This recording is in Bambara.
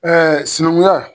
sinankunya